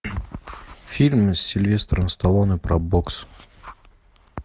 фильм с сильвестром сталлоне про бокс